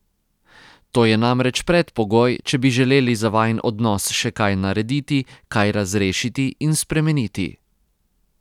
To je namreč predpogoj, če bi želeli za vajin odnos še kaj narediti, kaj razrešiti in spremeniti.